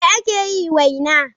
Me ake yi waina?